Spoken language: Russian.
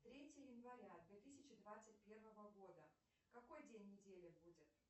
третье января две тысячи двадцать первого года какой день недели будет